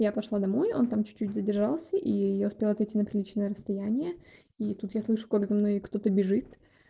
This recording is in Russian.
я пошла домой он там чуть-чуть задержался и я успела отойти на приличное расстояние и тут я слышу как за мной кто-то бежит